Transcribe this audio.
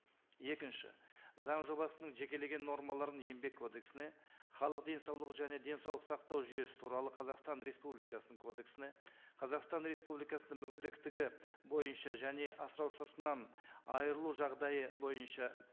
екінші заң жобасының жекелеген нормаларын еңбек кодексіне халық денсаулығы және денсаулық сақтау жүйесі туралы қазақстан республикасының кодексіне қазақстан республикасының мүгедектігі бойынша және асыраушысынан айырылу жағдайы бойынша